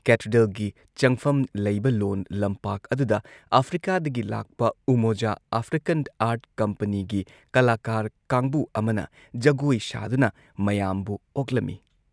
; ꯀꯦꯊꯦꯗ꯭ꯔꯦꯜꯒꯤ ꯆꯪꯐꯝ ꯂꯩꯕ ꯂꯣꯟ ꯂꯝꯄꯥꯛ ꯑꯗꯨꯗ ꯑꯥꯐ꯭ꯔꯤꯀꯥꯗꯒꯤ ꯂꯥꯛꯄ ꯎꯃꯣꯖꯥ ꯑꯥꯐ꯭ꯔꯤꯀꯟ ꯑꯥꯔꯠ ꯀꯝꯄꯅꯤꯒꯤ ꯀꯂꯥꯀꯥꯔ ꯀꯥꯡꯕꯨ ꯑꯃꯅ ꯖꯒꯣꯏ ꯁꯥꯗꯨꯅ ꯃꯌꯥꯝꯕꯨ ꯑꯣꯛꯂꯝꯏ ꯫